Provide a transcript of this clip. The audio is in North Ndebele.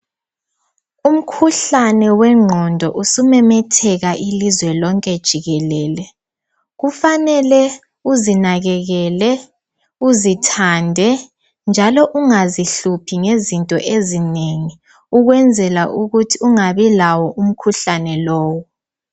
Umkhuhlane wengqondo usumemetheka ilizwe lonke jikelele kufanele uzinakekele, uzithande njalo ungazihluphi ngezinto ezinengi ukwenzela ukuthi ungabi lawo umkhuhlane lowo.